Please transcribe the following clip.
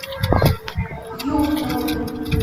юхновым